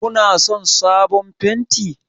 Kuna son sabon fenti?